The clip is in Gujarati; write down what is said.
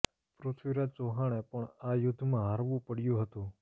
પૃથ્વીરાજ ચૌહાણે પણ આ યુદ્ધમાં હારવું પડ્યું હતું